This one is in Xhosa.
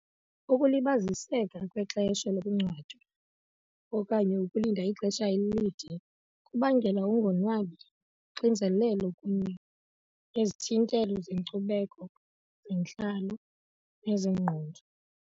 Ukulibaziseka kwexesha lokungcwatywa okanye ukulinda ixesha elide kubangela ukungonwabi, unxinzelelo kunye nezithintelo zenkcubeko zentlalo nezengqondo.